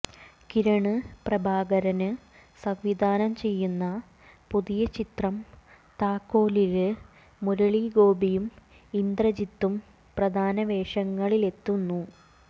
കിരണ് പ്രഭാകരന് സംവിധാനം ചെയ്യുന്ന പുതിയ ചിത്രം താക്കോലില് മുരളീഗോപിയും ഇന്ദ്രജിത്തും പ്രധാന വേഷങ്ങളിലെത്തുന്നു